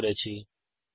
অংশগ্রহনের জন্য ধন্যবাদ